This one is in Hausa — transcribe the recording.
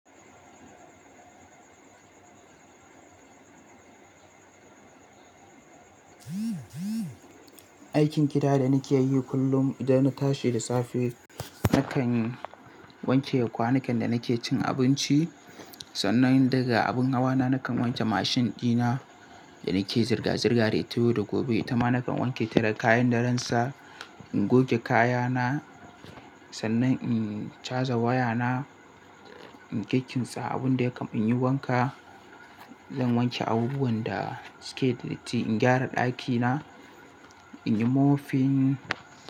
Aikin gida da nake yi kullum idan na tashi da safe, nakan wanke kwanukan da nake cin abinci. Sannan daga abin hawa na nakan wanke mashin ɗina da nake zirga-zirga da ita yau da gobe. Tama nakan wanke tire kayan da ransa, in goge kaya na, sannan in caja waya na, in keke tsaa abin da ya kam in yi wanka. Zan wanke abubuwan da suke datti, in gyara ɗaki na, in yi mofin.